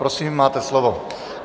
Prosím, máte slovo.